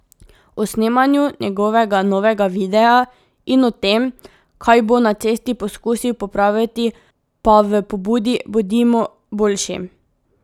O snemanju njegovega novega videa in o tem, kaj bo na cesti poskusil popraviti pa v pobudi Bodimo boljši.